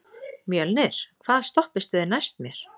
Mjölnir, hvaða stoppistöð er næst mér?